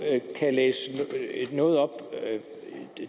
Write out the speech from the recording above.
læse noget op og